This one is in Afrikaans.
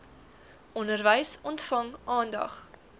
onderwys ontvang aandag